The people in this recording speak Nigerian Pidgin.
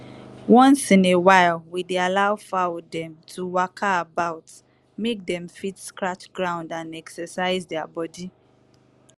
once in a while we dey allow fowl dem to waka about mek dem fit scratch ground and exercise their body.